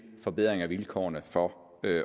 forbedring af vilkårene for